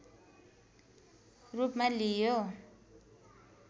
रूपमा लिइयो